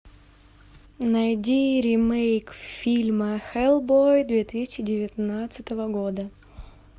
найди ремейк фильма хеллбой две тысячи девятнадцатого года